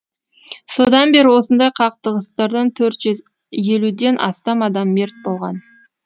содан бері осындай қақтығыстардан төрт жүз елуден астам адам мерт болған